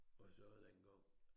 Og så dengang